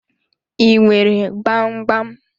I nwere gbam gbam.